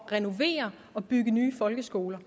renovere og bygge nye folkeskoler